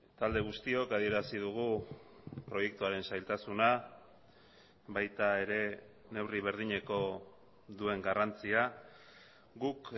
talde guztiok adierazi dugu proiektuaren zailtasuna baita ere neurri berdineko duen garrantzia guk